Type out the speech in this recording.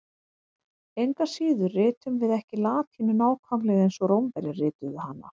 Engu að síður ritum við ekki latínu nákvæmlega eins og Rómverjar rituðu hana.